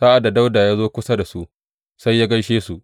Sa’ad da Dawuda ya zo kusa da su, sai ya gaishe su.